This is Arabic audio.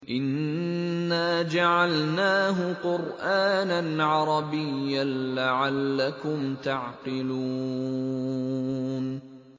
إِنَّا جَعَلْنَاهُ قُرْآنًا عَرَبِيًّا لَّعَلَّكُمْ تَعْقِلُونَ